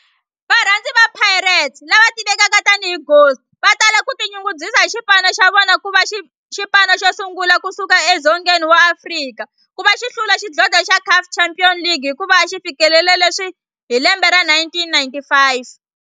Varhandzi va Pirates, lava tivekaka tani hi Ghost, vatala ku tinyungubyisa hi xipano xa vona kuva xipano xosungula kusuka e Dzongeni wa Afrika kuva xi hlula xidlodlo xa Caf Champions League hikuva xifikelele leswi hi 1995.